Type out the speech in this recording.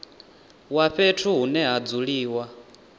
wa fhethu hune ha dzuliwa